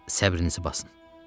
Səbrinizi basın.